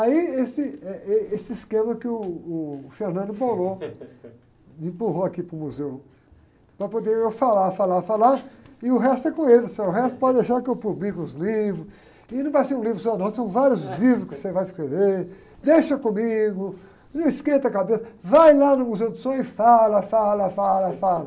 Aí esse, eh, êh, esse esquema que o o empurrou aqui para o museu, para poder eu falar, falar, falar, e o resto é com ele, o resto pode deixar que eu publique os livros, e não vai ser um livro só não, são vários livros que você vai escrever, deixa comigo, não esquenta a cabeça, vai lá no Museu do Som e fala, fala, fala, fala.